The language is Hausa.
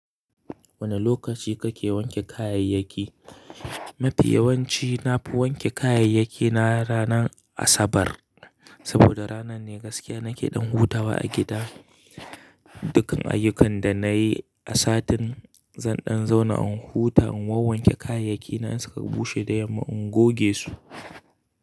Wane lokaci kake wanke kayayyaki? Mafi yawanci nafi wanke kayayyaki na ranar Asabar. Saboda ranar ne gaskiya nake ɗan hutawa a gida. Dukkan ayyukan da nayi a satin, zan ɗan zauna in huta in wanke kayayyaki na in suka bushe da yamma in goge su.